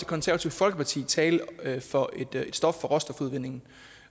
konservative folkeparti tale for et stop for råstofudvindingen